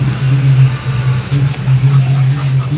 इसमें कि बहुत सारे केक लगे हुए हैं जो कि.